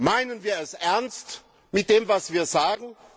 Meinen wir es ernst mit dem, was wir sagen?